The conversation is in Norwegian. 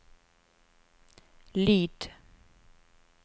lyd